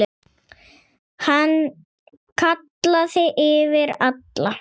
Hann kallaði yfir alla.